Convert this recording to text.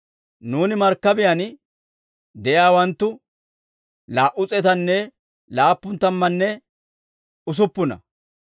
Nuuni markkabiyaan de'iyaawanttu laa"u s'eetanne laappun tammanne usuppuna.